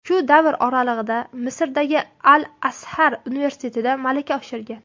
Shu davr oralig‘ida Misrdagi Al-Azhar universitetida malaka oshirgan.